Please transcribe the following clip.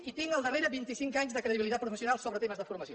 i tinc al darrere vint i cinc anys de credibilitat professional sobre temes de formació